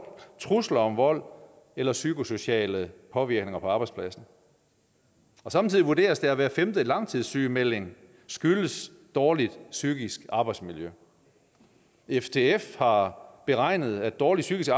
trusler om vold eller psykosociale påvirkninger på arbejdspladsen samtidig vurderes det at hver femte langtidssygemelding skyldes dårligt psykisk arbejdsmiljø ftf har beregnet at dårligt psykisk